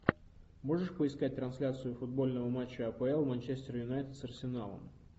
можешь поискать трансляцию футбольного матча апл манчестер юнайтед с арсеналом